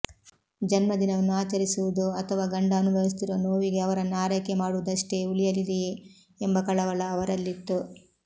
ಜನ್ಮದಿನವನ್ನು ಆಚರಿಸುವುದೊ ಅಥವಾ ಗಂಡ ಅನುಭವಿಸುತ್ತಿರುವ ನೋವಿಗೆ ಅವರನ್ನು ಆರೈಕೆ ಮಾಡುವುದಷ್ಟೇ ಉಳಿಯಲಿದೆಯೇ ಎಂಬ ಕಳವಳ ಅವರಲ್ಲಿತ್ತು